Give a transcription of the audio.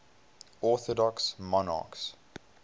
orthodox monarchs